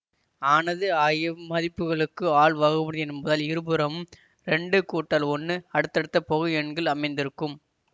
ஆனது ஆகிய மதிப்புகளுக்கு ஆல் வகுபடிம்பதால் இருபுறமும் ரெண்டு கூட்டல் ஒன்னு அடுத்தடுத்த பகு எண்கள் அமைந்திருக்கும்